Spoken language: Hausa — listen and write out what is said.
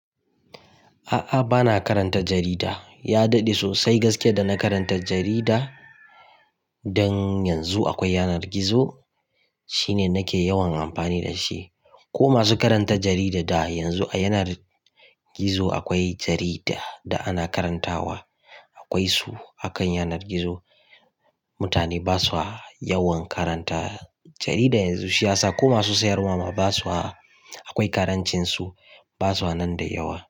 A'a bana karanta jarida. Ya daɗe sosai gaskiya da na karanta jarida. Dan yanzu akwai yanar gizo shine nake yawan amfani da shi. Ko masu karanta jarida da yanzu a yanar gizo akwai jarida da ana karantawa. Akwai su a kan yanar gizo. Mutane ba su yawan karanta jarida yanzu. Siyasa ko masu sayarwa ma ba su akwai karancin su, ba su nan da yawa.